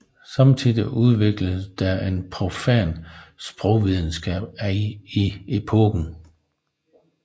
Samtidig udvikledes der en profan sprogvidenskab i epoken